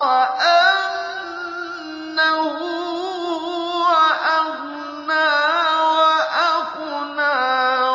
وَأَنَّهُ هُوَ أَغْنَىٰ وَأَقْنَىٰ